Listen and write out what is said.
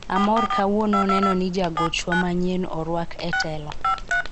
amoro kawuono neno ni jagochwa manyien orwak e telo